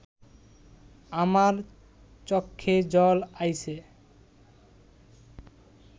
আমার চক্ষে জল আইসে